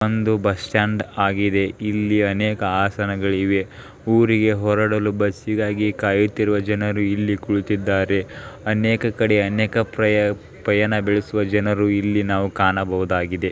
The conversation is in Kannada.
ಒಂದು ಬಸ್ ಸ್ಟ್ಯಾಂಡ್ ಆಗಿದೆ ಇಲ್ಲಿ ಅನೇಕ ಆಸನಗಳಿವೆ ಊರಿಗೆ ಹೋರಾಡಲು ಬಸ್ಸಿಗಾಗಿ ಕಾಯುತ್ತಿರುವ ಜನರು ಇಲ್ಲಿ ಕುಳಿತಿದ್ದಾರೆ ಅನೇಕ ಕಡೆ ಅನೇಕ ಪ್ರ ಪಯಣ ಬೆಳೆಸುವ ಜನರು ಇಲ್ಲಿ ನಾವು ಕಾಣಬಹುದಾಗಿದೆ.